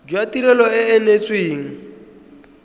jwa tirelo e e neetsweng